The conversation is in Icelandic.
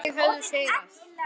Þau höfðu sigrað.